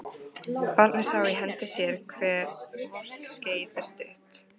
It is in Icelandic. Barnið sá í hendi sér hve vort skeið er stutt